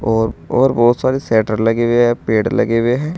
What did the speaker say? और और बहुत सारी शेटर लगी हुई है पेड़ लगे हुए हैं।